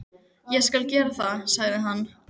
Ég skal gera það, sagði hann.